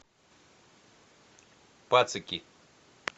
пацики